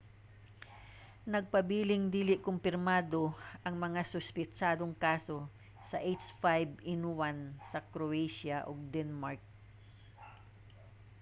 nagpabiling dili kumpirmado ang mga suspetsadong kaso sa h5n1 sa croatia ug denmark